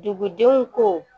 Dugudenw ko